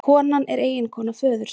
Konan er eiginkona föðursins